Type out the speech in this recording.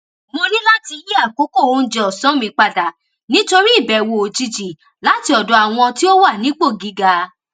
mo ní láti yí àkókò oúnjẹ òsán mi padà nítorí ìbèwò òjijì láti òdò àwọn tí ó wà nípò gíga